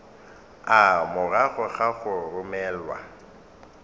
a morago ga go romelwa